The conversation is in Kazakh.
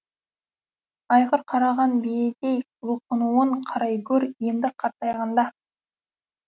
айғыр қараған биедей бұлқынуын қарай гөр енді қартайғанда